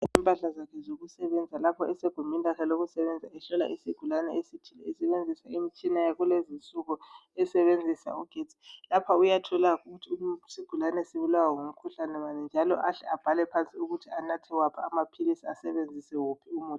Impahla zakhe zokusebenza lapho esegumbini lakhe lokusebenza ehlola isigulane esebenzisa imitshina yakulezinsuku esebenzisa ugetsi. Lapha uyathola ukuthi isigulane sibulawa ngumkhuhlane bani njalo ahle abhale phansi ukuthi anathe waphi amaphilisi njalo asebenzise wuphi umuthi